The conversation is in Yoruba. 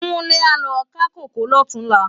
Kunle á lo ká kókòó lòtúnlá